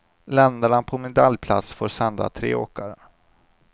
Länderna på medaljplats får sända tre åkare.